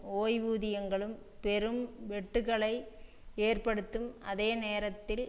ஓய்வூதியங்களிலும் பெரும் வெட்டுக்களை ஏற்படுத்தும் அதே நேரத்தில்